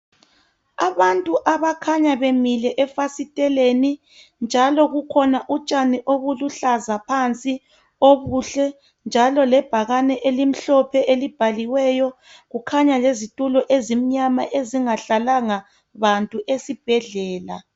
Abantu abakhanya bemile efasiteleni njalo bukhona utshani obuluhlaza phansi obuhle njalo lebhakani elimhlophe elibhaliweyo kukhanya lezitulo ezimnyama ezingahlalanga bantu ezibhedlela.